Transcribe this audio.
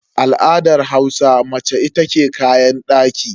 A al'adar Hausa mace ita ke kayan daki.